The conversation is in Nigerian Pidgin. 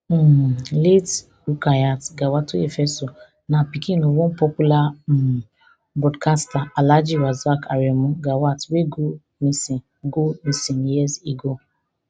um late rukyat gawatoyefeso na pikin of one popular um broadcaster alhaji rasaq aremu gawat wey go missing go missing years ago